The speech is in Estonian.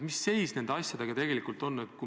Mis seis nende asjadega tegelikult on?